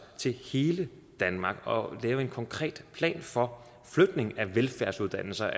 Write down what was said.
til hele danmark og lave en konkret plan for flytning af velfærdsuddannelser